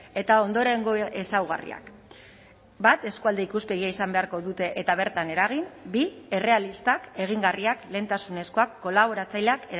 eta ondorengo ezaugarriak bat eskualde ikuspegia izan beharko dute eta bertan eragin bi errealistak egingarriak lehentasunezkoak kolaboratzaileak